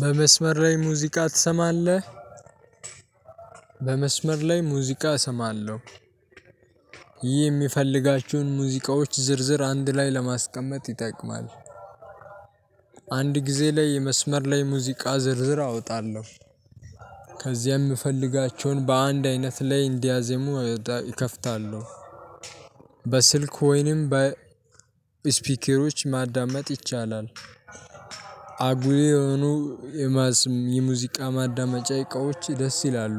በመስመር ላይ ሙዚቃ ትሰማለህ? በመስመር ላይ ሙዚቃ እሰማለሁ። ይህ የሚፈልጋቸውን ሙዚቃዎች ዝርዝር አንድ ላይ ለማስቀመጥ ይጠቅማል። አንድ ጊዜ ላይ መስመር ላይ ሙዚቃ ዝርዝር አወጣለሁ። ከዚያም ምፈልጋቸውን በአንድ አይነት ላይ እንዲያዜሙ እከፍታለሁ። በስልክ ወይንም በስፒኬሮች ማዳመጥ ይቻላል። አጉይ የሆኑ የማስም የሙዚቃ ማዳመጫ እቃዎች ደስ ይላሉ።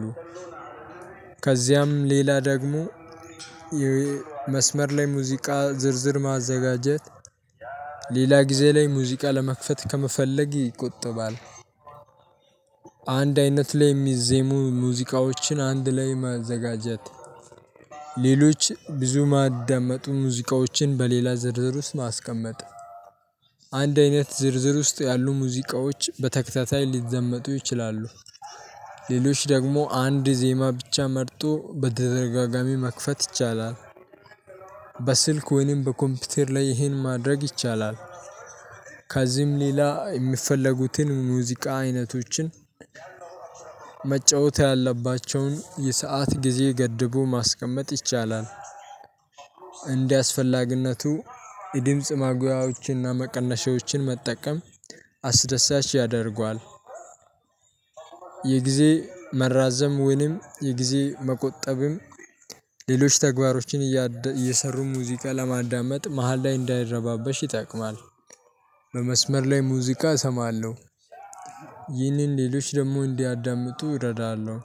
ከዚያም ሌላ ደግሞ መስመር ላይ ሙዚቃ ዝርዝር ማዘጋጀት ሌላ ጊዜ ላይ ሙዚቃ ለመክፈት ከመፈለግ ይቆጠባል። አንድ አይነት ላይ የሚዜሙ ሙዚቃዎችን አንድ ላይ ማዘጋጀት። ሌሎች ብዙ ማዳመጡ ሙዚቃዎችን በሌላ ዝርዝር ውስጥ ማስቀመጥ። አንድ አይነት ዝርዝር ውስጥ ያሉ ሙዚቃዎች በተከታታይ ሊደመጡ ይችላሉ። ሌሎች ደግሞ አንድ ዜማ ብቻ መርጦ በተደጋጋሚ መክፈት ይቻላል። በስልክ ወይንም በኮምፒውተር ላይ ይህን ማድረግ ይቻላል። ከዚህም ሌላ የሚፈለጉትን ሙዚቃ አይነቶችን መጫወት ያለባቸውን የሰዓት ጊዜ ገድቦ ማስቀመጥ ይቻላል። እንዲያስፈልግነቱ የድምጽ ማጉያዎችንና መቀነሻዎችን መጠቀም አስደሳች ያደርገዋል። የጊዜ መራዘም ወይንም የጊዜ መቆጠብም ሌሎች ተግባሮችን እየሰሩ ሙዚቃ ለማዳመጥ መሃል ላይ እንዳይረባበሽ ይጠቅማል። በመስመር ላይ ሙዚቃ እሰማለሁ። ይህንን ሌሎች ደግሞ እንዲያዳምጡ እረዳለሁ።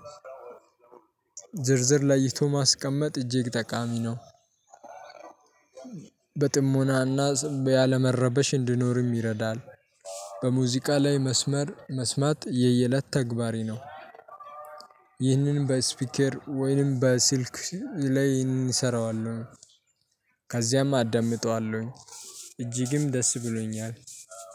ዝርዝር ለይቶ ማስቀመጥ እጅግ ጠቃሚ ነው። በጥሞና እና ስም ያለመረበሽ እንድኖር ይረዳል። በሙዚቃ ላይ መስመር መስማት የየለት ተግባሬ ነው። ይህንንም በስፒኬር ወይንም በስልክ ላይ እንሰራዋለን ከዚያም አዳምጠዋለሁኝ። እጅግም ደስ ብሎኛል።